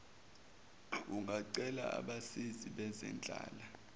ungacela abasizi bezenhlala